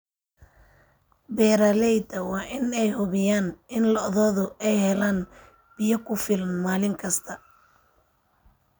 Beeralayda waa in ay hubiyaan in lo'doodu ay helaan biyo ku filan maalin kasta.